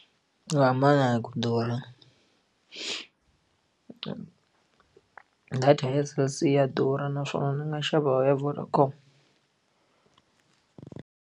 Swi hambana hi ku durha data ya Cell C ya durha naswona ndzi nga xava ya Vodacom.